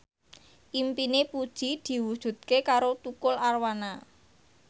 impine Puji diwujudke karo Tukul Arwana